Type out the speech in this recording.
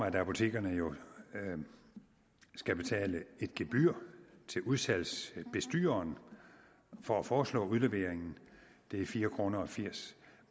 at apotekeren jo skal betale et gebyr til udsalgsbestyreren for at forestå udleveringen det er fire kroner firs